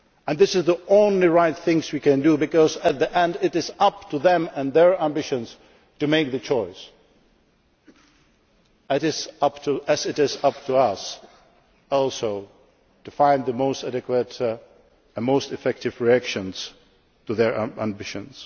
This is the only right thing we can do, because in the end it is up to them and their ambitions to make the choice, as it is up to us, also, to find the most adequate and most effective response to their ambitions.